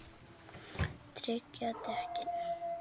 Tryggja dekkin?